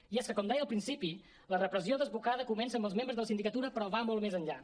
i és que com deia al principi la repressió desbocada comença amb els membres de la sindicatura però va molt més enllà